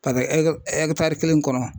Paseke ɛkitari kelen kɔnɔ.